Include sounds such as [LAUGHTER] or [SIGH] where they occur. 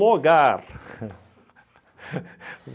Logar [LAUGHS]